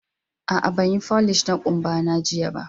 A'a, banyi folish na kumba na jiya ba.